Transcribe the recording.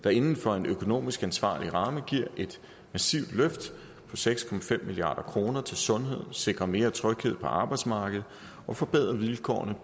der inden for en økonomisk ansvarlig ramme giver et massivt løft på seks milliard kroner til sundhed sikrer mere tryghed på arbejdsmarkedet og forbedrer vilkårene